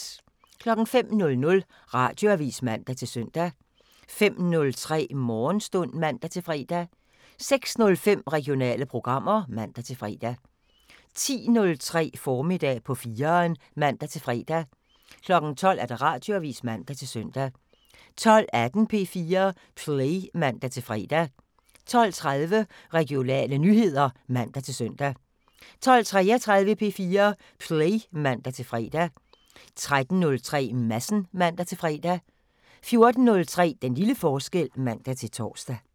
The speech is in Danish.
05:00: Radioavisen (man-søn) 05:03: Morgenstund (man-fre) 06:05: Regionale programmer (man-fre) 10:03: Formiddag på 4'eren (man-fre) 12:00: Radioavisen (man-søn) 12:18: P4 Play (man-fre) 12:30: Regionale nyheder (man-søn) 12:33: P4 Play (man-fre) 13:03: Madsen (man-fre) 14:03: Den lille forskel (man-tor)